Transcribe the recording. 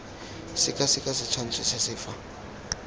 sekaseka setshwantsho se se fa